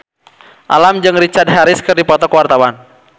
Alam jeung Richard Harris keur dipoto ku wartawan